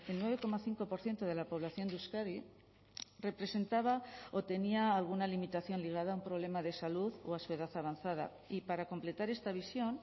nueve coma cinco por ciento de la población de euskadi representaba o tenía alguna limitación ligada a un problema de salud o a su edad avanzada y para completar esta visión